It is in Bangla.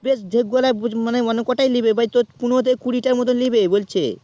বেশ ঢেক গুলাই বা মেলা গুলাই মানে অনেক প্রায় তোর পনেরো থেকে কুঁড়ি টার মতো নেবে বলছে